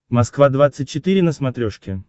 москва двадцать четыре на смотрешке